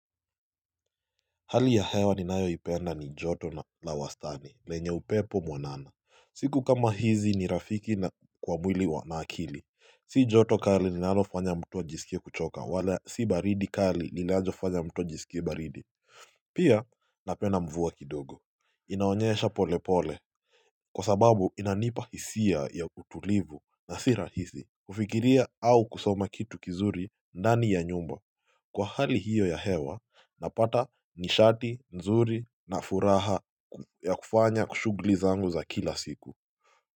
Hali ya hewa ninayoipenda ni joto la wastani lenye upepo mwanana siku kama hizi ni rafiki kwa mwili na akili Si joto kali linalofanya mtu ajisikie kuchoka wala si baridi kali linalofanya mtu ajisikie baridi Pia napenda mvua kidogo inaonyesha pole pole Kwa sababu inanipa hisia ya utulivu na si rahisi kufikiria au kusoma kitu kizuri ndani ya nyumba Kwa hali hiyo ya hewa, napata nishati, nzuri na furaha ya kufanya shughuli zangu za kila siku.